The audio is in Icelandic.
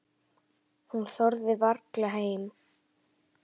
Hún þorði varla heim.